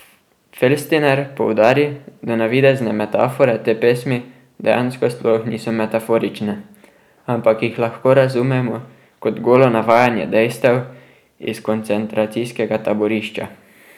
Felstiner poudari, da navidezne metafore te pesmi dejansko sploh niso metaforične, ampak jih lahko razumemo kot golo navajanje dejstev iz koncentracijskega taborišča.